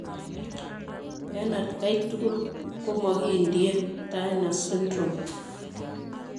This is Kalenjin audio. En atkai tugul komokindie Turner syndrome.